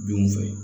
Denw fɛ